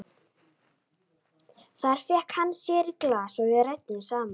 Þar fékk hann sér í glas og við ræddum saman.